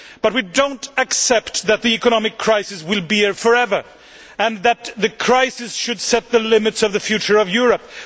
But we do not accept that the economic crisis will be here for ever and that the crisis should set the limits for the future of Europe.